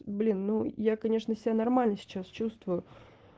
блин ну я конечно себя нормально сейчас чувствую